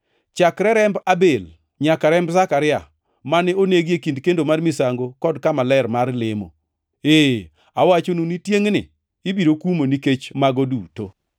Chakre remb Abel nyaka remb Zekaria, mane onegi e kind kendo mar misango kod kama ler mar lemo. Ee awachonu ni tiengʼni ibiro kumo nikech mago duto.